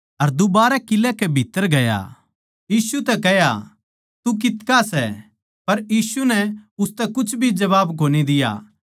अर दूबारै किलै कै भीत्त्तर गया अर यीशु तै कह्या तू कितका सै पर यीशु नै उसतै कुछ भी जबाब कोनी दिया